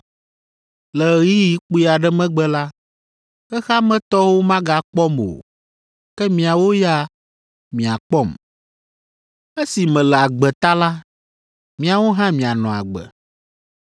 Le ɣeyiɣi kpui aɖe megbe la, xexea me tɔwo magakpɔm o, ke miawo ya, miakpɔm. Esi mele agbe ta la, miawo hã mianɔ agbe.